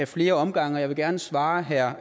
flere omgange og jeg vil gerne svare herre